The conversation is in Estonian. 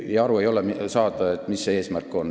Ja aru ei ole saada, mis see eesmärk on.